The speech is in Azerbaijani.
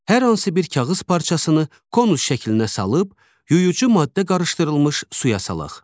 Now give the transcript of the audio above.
Hər hansı bir kağız parçasını konus şəklinə salıb, yuyucu maddə qarışdırılmış suya salaq.